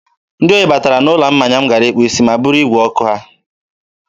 Ndị ohi batara n'ụlọ mmanya m gara ịkpụ isi ma buru igwe nnyeọkụ ha.